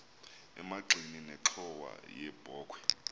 emagxeni nenxhowa yebokhwe